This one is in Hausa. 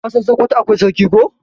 ka San sokoto akwai sarki ko?